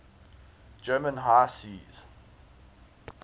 german high seas